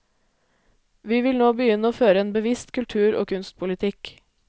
Vi vil nå begynne å føre en bevisst kultur og kunstpolitikk.